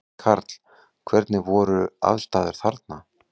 Karl: Hvernig voru aðstæður þarna?